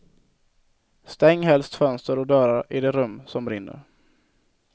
Stäng helst fönster och dörrar i det rum som brinner.